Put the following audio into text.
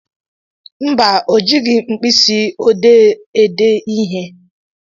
Mba, o jighị mkpịsị ọdee ede ihe.